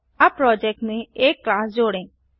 अब प्रोजेक्ट में एक क्लास जोड़ें